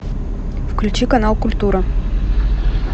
включи канал культура